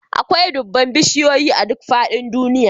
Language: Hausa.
Akwai dubban bishiyoyi a duk faɗin duniya